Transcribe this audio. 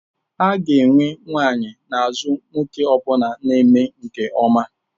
A ga-enwe nwanyị n'azụ nwoke ọ bụla na-eme nke ọma.